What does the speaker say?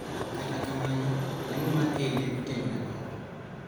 Kata kamano, lemo mar Eid ne otimre oko,